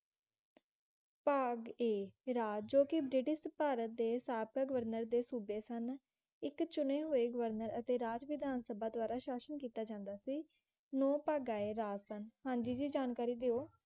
ਭਾਗ A ਰਾਜ ਜੋ ਕਿ ਬ੍ਰਿਟਿਸ਼ ਭਾਰਤ ਦੇ ਸ਼ਾਰਥਕ ਗਵਰਨਰ ਦੇ ਸੁਬੇ ਸਨ ਇੱਕ ਚੁਣੇ ਹੂਏ ਗਵਰਨਰ ਅਤੇ ਰਾਜ ਵਿਧਾਨ ਸਬਾ ਦ੍ਵਾਰਾ ਸ਼ਾਸਨ ਕੀਤਾ ਜਾਂਦਾ ਸੀ ਨੋ ਭਾਗਾ ਹਾਂਜੀ ਜੀ ਜਾਣਕਾਰੀ ਦਿਓ